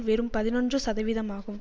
வெறும் பதினொன்று சதவீதமாகும்